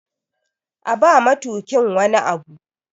A ba matukin wani Abu!